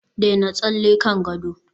daina tsalle kan gado